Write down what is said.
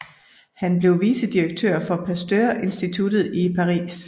Han blev vicedirektør for Pasteurinstituttet i Paris